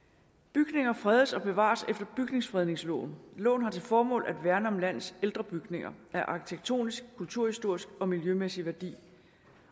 bygninger fredes og bevares efter bygningsfredningsloven loven har til formål at værne om landets ældre bygninger af arkitektonisk kulturhistorisk og miljømæssig værdi